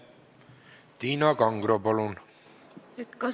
Tiina Kangro, palun!